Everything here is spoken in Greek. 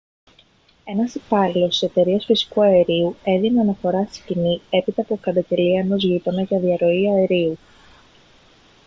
ένας υπάλληλος της εταιρείας φυσικού αερίου έδινε αναφορά στη σκηνή έπειτα από καταγγελία ενός γείτονα για διαρροή αερίου